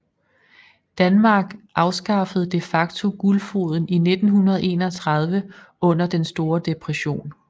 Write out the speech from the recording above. Danmark afskaffede de facto guldfoden i 1931 under den store depression